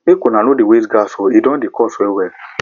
make una no dey waste gas o e don dey cost wellwell